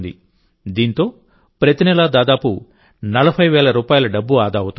దీంతో ప్రతి నెలా దాదాపు 40 వేల రూపాయల డబ్బు ఆదా అవుతోంది